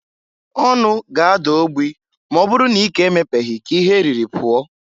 Ọnụ ga ada ogbi m'ọ bụrụ na ike emepeghi ka ihe eriri pụọ.